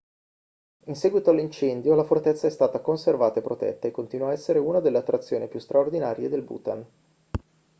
in seguito all'incendio la fortezza è stata conservata e protetta e continua a essere una delle attrazioni più straordinarie del bhutan